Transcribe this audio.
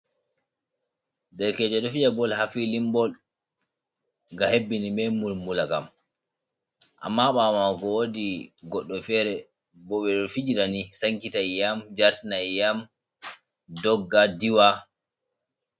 Derkejo ɗo fiya bol ha filin bol nga hebbini be bulbula kam, amma ɓawo mako wodi goɗɗo fere bo ɓeɗo fijirani sankita iyam jartina iyam dogga diwa.